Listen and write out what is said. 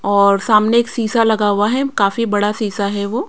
और सामने एक सीसा लगा हुआ है काफी बड़ा सीसा है वो।